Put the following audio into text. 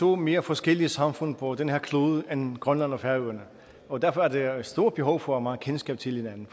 to mere forskellige samfund på den her klode end grønland og færøerne og derfor er der et stort behov for at kendskab til hinanden